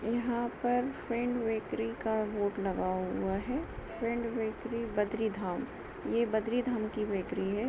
यहाँ पर friend bakery का बोर्ड लगा हुआ है फ्रेंड बेकरी बदरी धाम ये बदरी धाम की बेकरी हैं।